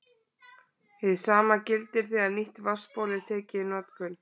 Hið sama gildir þegar nýtt vatnsból er tekið í notkun.